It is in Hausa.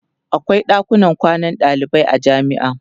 akwai ɗakunan kwanan dalibai a jamia